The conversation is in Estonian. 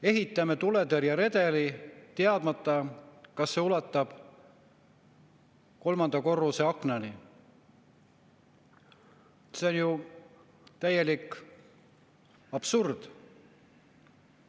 " Ehitame tuletõrjeredeli, teadmata, kas see ulatub kolmanda korruse aknani – see on ju täielik absurd.